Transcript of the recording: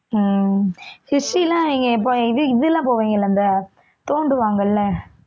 உம் history எல்லாம் இப்ப இது இது எல்லாம் போவீங்க இல்ல அந்த தோண்டுவாங்க இல்ல